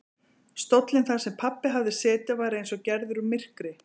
Stóllinn þar sem pabbi hafði setið var eins og gerður úr myrkri.